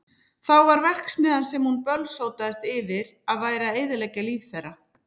Þá var það verksmiðjan sem hún bölsótaðist yfir að væri að eyðileggja líf þeirra.